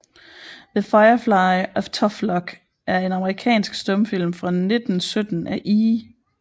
The Firefly of Tough Luck er en amerikansk stumfilm fra 1917 af E